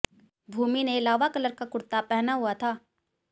भूमि ने lava colour का कुर्ता पहना हुआ था